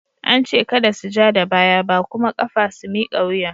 An ce kada su ja da baya ba kuma kafa su miƙa wuya!